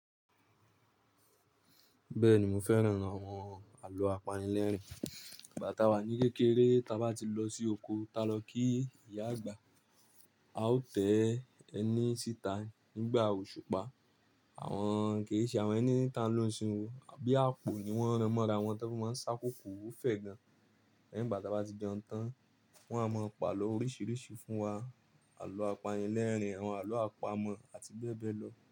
Bẹ́ẹ̀ni, mo fẹ́ràn àwọn àlọ́ apanilẹ́rìn-ín. Ìgbá ta wà ní kékeré ta bá ti lọ sí oko, ta lọ kí ìyá àgbà, a ó tẹ́ ẹni síta nígbà òṣùpá. Àwọn kìí ṣe àwọn ẹni tí a ń lo ni isinyi o Abíàpò ni wọ́n rán mọ́ra wọn táa fi máa ń ṣákókò ó fẹ́ gan. Lẹ́yìn bá ta bá ti jeun tán, wọ́n a máa pa àlọ́ oríṣiríṣi fún wa. Àlọ́ apanilẹ́rìn-ín, àwọn àlọ́ àpamọ̀ àti bẹ́ẹ̀ bẹ́ẹ̀ lọ.